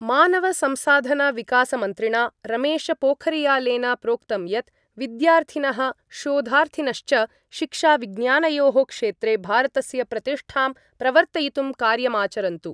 मानवसंसाधनविकासमन्त्रिणा रमेशपोखरियालेन प्रोक्तं यत् विद्यार्थिनः शोधार्थिनश्च शिक्षाविज्ञानयोः क्षेत्रे भारतस्य प्रतिष्ठां प्रवर्तयितुं कार्यमाचरन्तु।